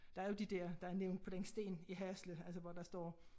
Der er jo de der der er nævnt på den sten i Hasle altså hvor der står